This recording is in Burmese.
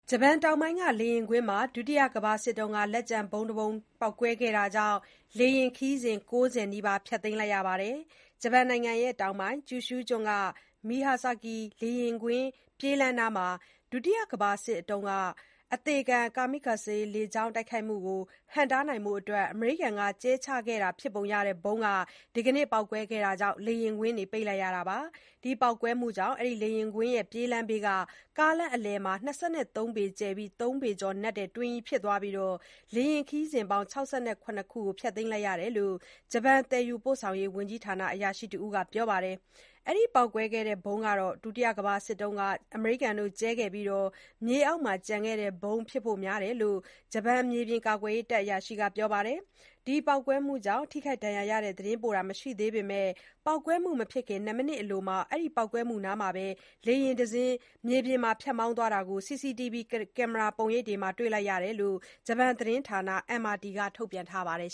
ဂျပန်တောင်ပိုင်းက လေယာဉ်ကွင်းမှာ ဒုတိယကမ္ဘာစစ် လက်ကျန် ဗုံးပေါက်ကွဲတာကြောင့် လေယာဉ်ခရီးစဉ် ၉၀ နီးပါး ဖျက်သိမ်းလိုက်ရပါတယ်။ ဂျပန်နိုင်ငံတောင်ပိုင်း ကျူရှူးကျွန်းက Myazaki မြို့ လေယာဉ်ကွင်းပြေးလမ်းနားမှာ၊ ဒုတိယကမ္ဘာစစ်အတွင်းတုန်းက အသေခံ Kamikaze လေကြောင်း တိုက်ခိုက်မှုကို ဟန့်တားဖို့ အမေရိကန်က ကြဲချခဲ့တာဖြစ်ပုံရတဲ့ဗုံး ဒီနေ့ ပေါက်ကွဲတာကြောင့် လေယာဉ်ကွင်းပိတ်လိုက်ရတာပါ။ ဒီ ပေါက်ကွဲမှုကြောင့် Myazaki လေယာဉ်ကွင်း ပြေးလမ်းဘေးက ကားလမ်းအလယ်မှာ ၂၃ ပေကျယ်၊ ၃ ပေကျော်နက်တဲ့ တွင်းကြီးဖြစ်သွားပြီး လေယာဉ်ခရီးစဉ်ပေါင်း ၈၇ ခုကို ဖျက်သိမ်းလိုက်ရတယ်လို့ ဂျပန် သယ်ယူပို့ဆောင်ရေးဝန်ကြီးဌာန အရာရှိတစ်ဦးက ပြောပါတယ်။ ဒီ ပေါက်ကွဲခဲ့တဲ့ဗုံးက ကမ္ဘာစစ်တုန်းထဲက အမေရိကန် ကြဲခဲ့ပြီး မြေအောက်မှာ ကျန်ခဲ့တဲ့ဗုံးဖြစ်ဖို့များကြောင်း ဂျပန် မြေပြင် ကာကွယ်ရေးတပ်အရာရှိက ပြောပါတယ်။ ဒီပေါက်ကွဲမှုကြောင့် ထိခိုက်ဒဏ်ရာရတဲ့ သတင်းပို့တာ မရှိသေးပေမဲ့၊ ပေါက်ကွဲမှုမဖြစ်ခင် ၂ မိနစ်လောက်မှာပဲ ပေါက်ကွဲမှုနားမှာ လေယာဉ်တစ်စီး မြေပြင်ပေါ်မှာပဲ ဖြတ်မောင်းသွားတာကို CCTV ကင်မရာပုံရိပ်တွေထဲ တွေ့လိုက်ရတယ်လို့ ဂျပန် သတင်းဌာန MRT ကတော့ ထုတ်ပြန်ထားပါတယ်